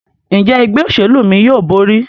Njé Ẹgbẹ́ òṣèlú mí yóò bóri?